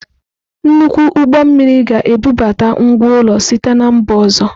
Nnukwu ụgbọ mmiri ga-ebubata ngwá ụlọ site na mba ọzọ.